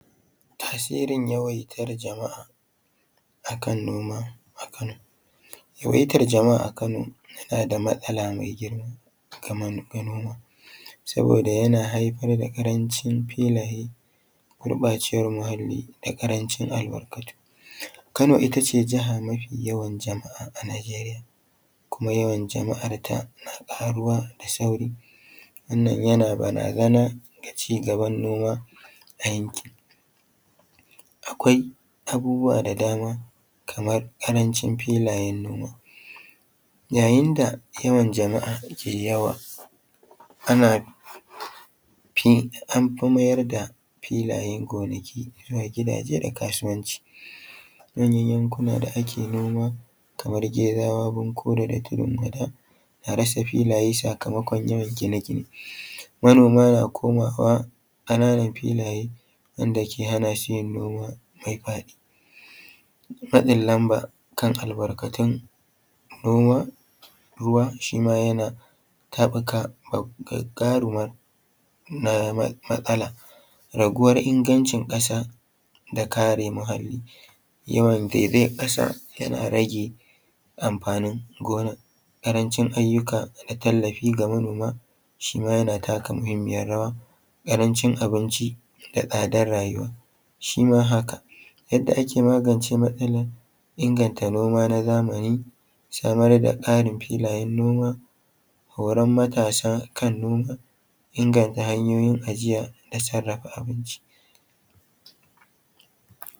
Tasirin yawaitar jama'a akan noma a kano. Yawaitar Jama'a a kano yana da matsala mai girma kaman ga noma. saboda yana haifar da ƙarancin filaye, gurɓacewan muhalli da ƙarancin albarkatu. Kano ita ce mafi yawan jama'a a najeriya, kuma yawan jama'arta na ƙaruwa da sauri. Wannan yana barazana ga ci gaban noma a yankin. Akwai abubuwa da dama kamar ƙarancin filayen noma, yayin da yawan jama'a ke yawa anfi mayar da filaye gonaki zuwa gidaje da kasuwanci. Manya yankuna da ake noma kaman gezawa, bankore da tudun wada, an rasa filaye sakamakon yawan gine gine. Manoma na komawa ƙananan filaye wanda ke hana shi yin noma ya faɗi. Matsin lamba kan albarkatun noma, ruwa shi ma yana taɓuka gagarumar matsala, raguwar ingancin ƙasa da kare muhalli, yawan zaizayar ƙasa yana rage amfanin gonan, ƙarancin ayyuka na tallafi ga manoma shi ma yana taka muhimmiyar rawa, ƙarancin abinci da tsadar rayuwa, shi ma haka. Yanda ake magance matsalar inganta noma na zamani, samar da tsarin filayen, noma horan matasa kan noma, inganta hanyoyin ajiya da sarrafa abinci.